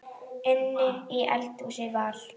Inni í eldhúsi var